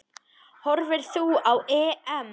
Horfir þú á EM?